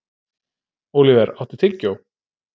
Óliver, áttu tyggjó?